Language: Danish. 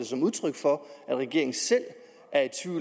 som udtryk for at regeringen selv